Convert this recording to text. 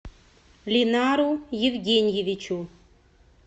линару евгеньевичу